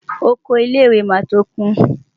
Oko ilé-ìwé máa tó kún.